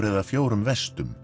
eða fjórum